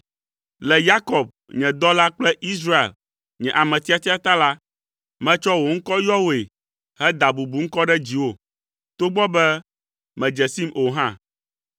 Le Yakob, nye dɔla kple Israel, nye ame tiatia ta la, metsɔ wò ŋkɔ yɔ wòe heda bubuŋkɔ ɖe dziwò, togbɔ be mèdze sim o hã.